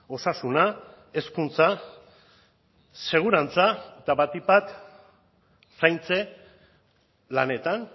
osasuna hezkuntza segurantza eta batik bat zaintze lanetan